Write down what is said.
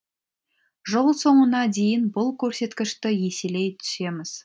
жыл соңына дейін бұл көрсеткішті еселей түсеміз